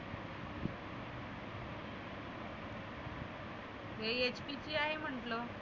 हे HP चे आहे म्हटलं.